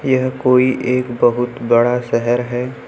यह कोई एक बहुत बड़ा शहर है।